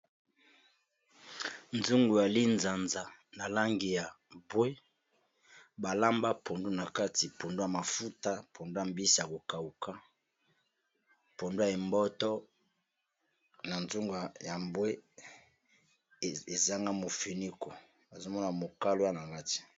Nzungu ya linzanza na langi ya mbwe balamba pondu na kati pondu ya mafuta pondu ya mbisi ya kokauka pondu ya emboto na nzunga ya mbwe ezanga mofuniko nazomona mokalwa na kati.